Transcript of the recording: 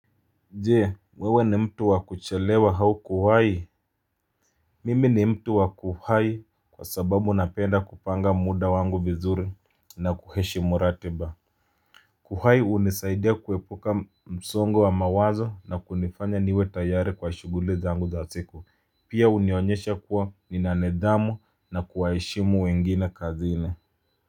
Je, wewe mtu wa kuchalewa au kuwahi, mimi mtu wa kuwahi kwa sababu na penda kupanga muda wangu vizuri na kuheshi muratiba. Kuwahi hunisaidea kuepuka msongo wa mawazo na kunifanya niwe tayare kwa shughuli zangu siku. Pia hunionyesha kuwa nina nidamu na kuheshi mu wengina kazini.